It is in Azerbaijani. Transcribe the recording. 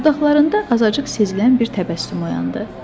Dodaqlarında azacıq sezilən bir təbəssüm oyandı.